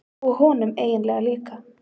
Og honum eiginlega líka.